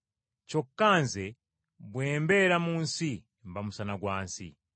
Kyokka Nze bwe mbeera mu nsi mba musana gwa nsi.”